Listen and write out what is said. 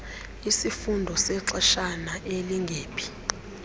isifundo sexeshana elingephi